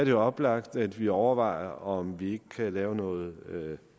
jo oplagt at vi overvejer om vi ikke kan lave noget